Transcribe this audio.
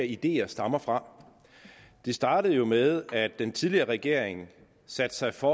ideer stammer fra det startede jo med at den tidligere regering satte sig for